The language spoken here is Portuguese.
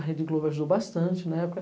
A Rede Globo ajudou bastante na época.